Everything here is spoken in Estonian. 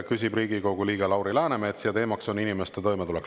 Küsib Riigikogu liige Lauri Läänemets ja teemaks on inimeste toimetulek.